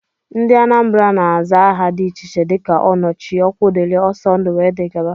Ndị Anambra na-aza aha dị iche iche dika Onochie, Okwudili, Ọsọndụ wdg.